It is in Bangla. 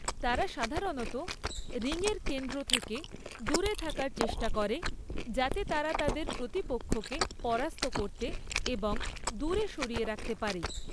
তারা সাধারণত রিংয়ের কেন্দ্র থেকে দূরে থাকার চেষ্টা করে, যাতে তারা তাদের প্রতিপক্ষকে পরাস্ত করতে এবং দূরে সরিয়ে রাখতে পারে।